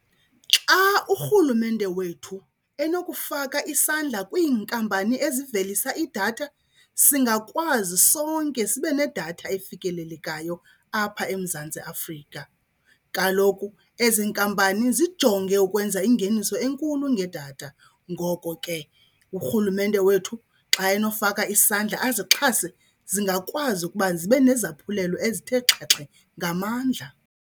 Xa urhulumente wethu enokufaka isandla kwiinkampani ezivelisa idatha singakwazi sonke sibe nedatha efikelelekayo apha eMzantsi Afrika. Kaloku ezi nkampani zijonge ukwenza ingeniso enkulu ngedatha, ngoko ke urhulumente wethu xa enofaka isandla azixhase zingakwazi ukuba zibe nezaphulelo ezithe xhaxhe ngamandla.